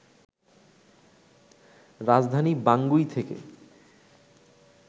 রাজধানী বাঙ্গুই থেকে